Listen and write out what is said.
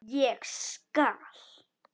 Ég skal.